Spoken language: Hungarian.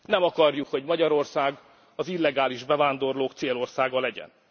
is. Nem akarjuk, hogy Magyarország az illegális bevándorlók célországa legyen.